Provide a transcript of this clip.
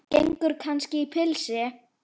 Gengur kannski í pilsi?